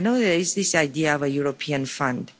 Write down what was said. And I know there is this idea of a European fund.